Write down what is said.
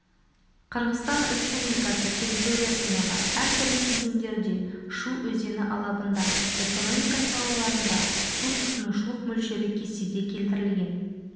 қырғызстан республикасы территориясындағы әртүрлі кезеңдерде шу өзені алабында экономика салаларында су тұтынушылық мөлшері кестеде келтірілген